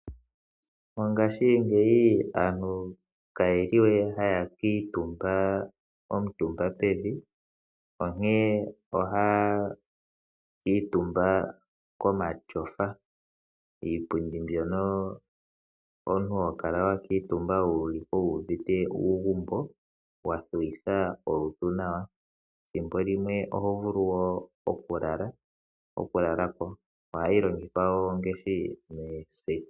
Mongashingeyi aantu ka yeli we haya kiitumba omutumba pevi.l, onkee ohaya kiitumba komashofa. Iipundi mbyoka omuntu ho kala wa kuutumba wuliko wuuvite uugumbo, wa thuwitha olutu nawa. Ethimbo limwe oho vulu wo oku lala po. Ohayi longithwa ngashi mooseti